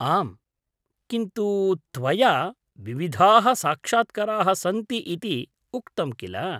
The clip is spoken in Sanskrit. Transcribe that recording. आम्, किन्तु त्वया, विविधाः साक्षात्कराः सन्ति इति उक्तं किल?